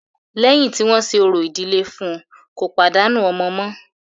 Lẹ́yìn tí wọ́n ṣe orò ìdílé fún ùn, kò tún pàdánù ọmọ mọ́.